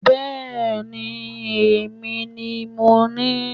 Bẹ́ẹ̀ni èmi ni mo ní